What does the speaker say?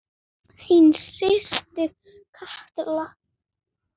Þín systir Katla.